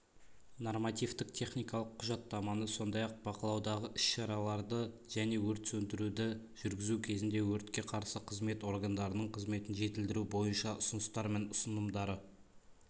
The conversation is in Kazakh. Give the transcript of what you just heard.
нормативтік-техникалық құжаттаманы сондай-ақ бақылаудағы іс-шараларды және өрт сондіруді жүргізу кезінде өртке қарсы қызмет органдарының қызметін жетілдіру бойынша ұсыныстар мен ұсынымдарды